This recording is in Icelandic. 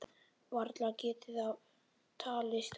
Varla getur það talist vændi?